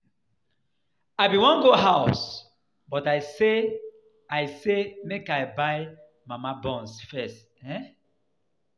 I bin wan go house but I say i say make I buy my mama buns first um.